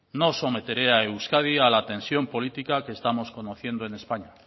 no someteré a euskadi a la tensión política que estamos conociendo en españa